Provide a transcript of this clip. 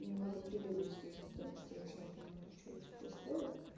немного прибираюсь здесь потому что я вообще не понимаю что блять здесь происходит